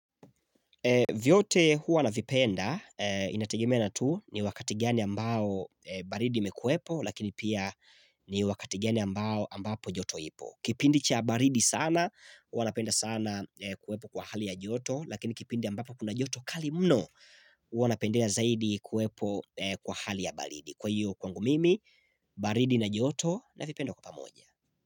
Vyote huwa navipenda inategemea na tu ni wakati gani ambao baridi imekuwepo lakini pia ni wakati gani ambapo joto ipo Kipindi cha baridi sana huwa napenda sana kuwepo kwa hali ya joto lakini kipindi ambapo kuna joto kali mno huwa napendea zaidi kuwepo kwa hali ya baridi Kwa hiyo kwangu mimi baridi na joto navipenda kwa pamoja.